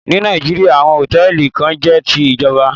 Ní Nàìjíríà, àwọn Hòtẹ́lìì kan jẹ́ ti ìjọba.